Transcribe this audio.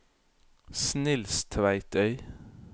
Snilstveitøy